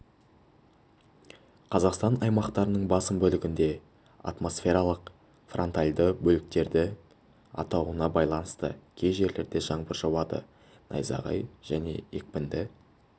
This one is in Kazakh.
қазақстан аймақтарының басым бөлігінде атмосфералық фронтальды бөліктердің өтуіне байланысты кей жерлерде жаңбыр жауады найзағай және екпінді